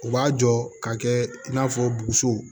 U b'a jɔ ka kɛ i n'a fɔ boso